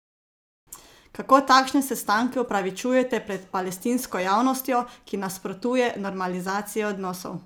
Kako takšne sestanke upravičujete pred palestinsko javnostjo, ki nasprotuje normalizaciji odnosov?